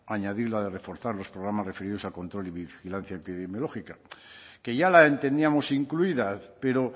añadir la de reforzar los programas referidos al control y vigilancia epidemiológica que ya la entendíamos incluida pero